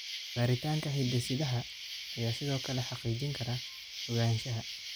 Baaritaanka hidde-sidaha ayaa sidoo kale xaqiijin kara ogaanshaha.